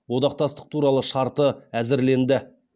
одақтастық туралы шарты әзірленді